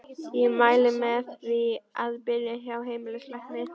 Ég mæli með því að byrja hjá heimilislækni.